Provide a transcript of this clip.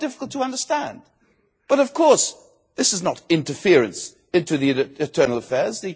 I find it difficult to understand but, of course, this is not interference in internal affairs.